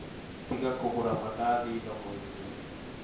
Tiga kũgũra madathi thoko-inĩ